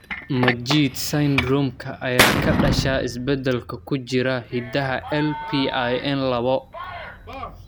Majeed syndrome-ka ayaa ka dhasha isbeddellada ku jira hiddaha LPIN lawo.